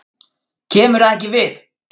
KEMUR ÞAÐ EKKI VIÐ!